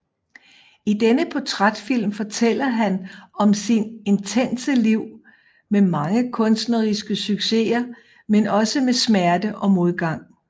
I denne portrætfilm fortæller han om sit intense liv med mange kunstneriske succeser men også med smerte og modgang